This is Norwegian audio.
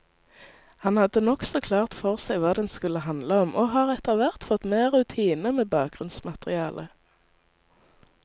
Han hadde nokså klart for seg hva den skulle handle om, og har etterhvert fått mer rutine med bakgrunnsmaterialet.